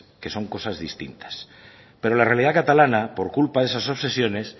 que son cosas distintas pero la realidad catalana por culpa de esas obsesiones